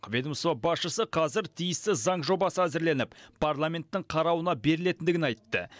ведомство басшысы қазір тиісті заң жобасы әзірленіп парламенттің қарауына берілетіндігін айтты